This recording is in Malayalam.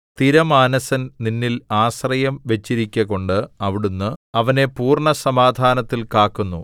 സ്ഥിരമാനസൻ നിന്നിൽ ആശ്രയം വച്ചിരിക്കുകകൊണ്ടു അവിടുന്നു അവനെ പൂർണ്ണസമാധാനത്തിൽ കാക്കുന്നു